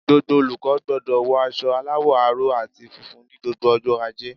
Gbogbo olùkó gbodò wo aso aláwò aró àti funfun ní gbogbo ojó ajé